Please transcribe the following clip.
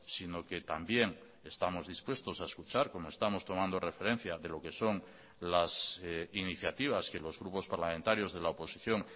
sino que también estamos dispuestos a escuchar como estamos tomando referencia de lo que son las iniciativas que los grupos parlamentarios de la oposición